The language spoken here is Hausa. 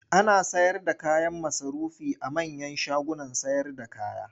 Ana sayarda kayan masarufi a manyan shagunan sayarda kaya.